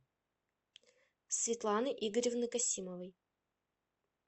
светланы игоревны касимовой